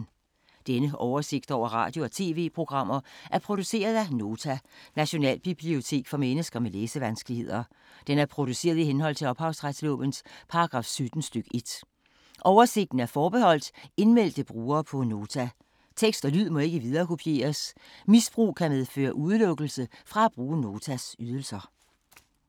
Denne oversigt over radio og TV-programmer er produceret af Nota, Nationalbibliotek for mennesker med læsevanskeligheder. Den er produceret i henhold til ophavsretslovens paragraf 17 stk. 1. Oversigten er forbeholdt indmeldte brugere på Nota. Tekst og lyd må ikke viderekopieres. Misbrug kan medføre udelukkelse fra at bruge Notas ydelser.